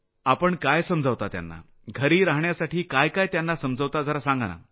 आपण काय समजावता त्यांना घरी रहाण्यासाठी काय काय त्यांना समजावता आपण जरा सांगा